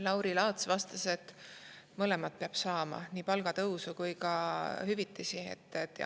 Lauri Laats vastas, et mõlemat peab saama, nii palgatõusu kui ka hüvitisi.